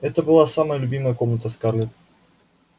это была самая любимая комната скарлетт